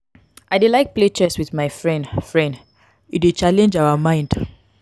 i dey like play chess wit my friend friend e dey challenge our mind.